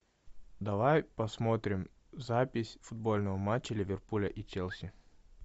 давай посмотрим запись футбольного матча ливерпуль и челси